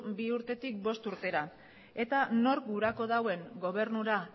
bi urtetik bost urtera eta nork gurako dauen gobernura